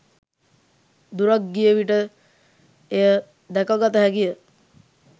දුරක් ගිය විට එය දැකගත හැකිය.